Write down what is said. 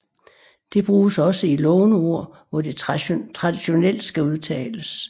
Det bruges også i låneord hvor det traditionelt skal udtales